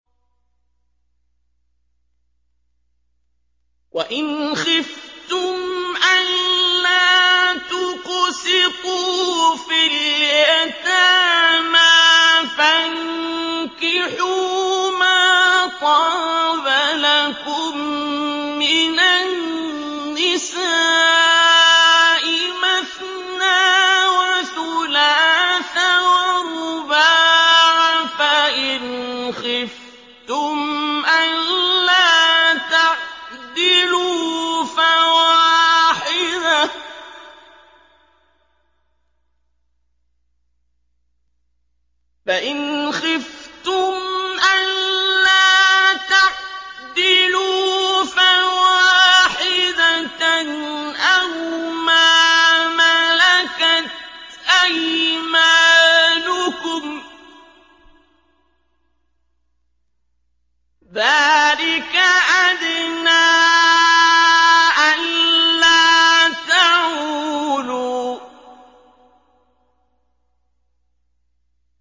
وَإِنْ خِفْتُمْ أَلَّا تُقْسِطُوا فِي الْيَتَامَىٰ فَانكِحُوا مَا طَابَ لَكُم مِّنَ النِّسَاءِ مَثْنَىٰ وَثُلَاثَ وَرُبَاعَ ۖ فَإِنْ خِفْتُمْ أَلَّا تَعْدِلُوا فَوَاحِدَةً أَوْ مَا مَلَكَتْ أَيْمَانُكُمْ ۚ ذَٰلِكَ أَدْنَىٰ أَلَّا تَعُولُوا